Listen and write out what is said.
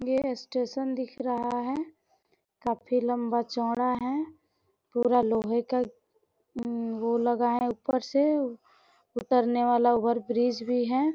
ये स्टेशन दिख रहा है काफी लंबा चौड़ा है पूरा लोहे का उम्म वो लगा है ऊपर से उतरने वाला ओवर ब्रिज भी है।